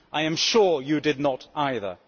I am sure you did not either.